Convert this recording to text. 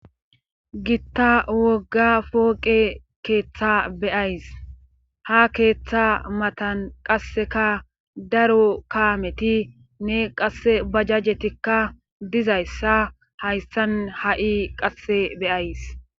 gitta wogga fooqe keeththa beyays ha keeththa matan qasseka daro kaameti ne qasse bajajjetikka dizayssa hayssan ha7i qasse beyays